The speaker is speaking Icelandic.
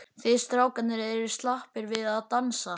Þið strákarnir eruð slappir við að dansa.